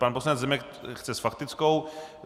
Pan poslanec Zemek chce s faktickou.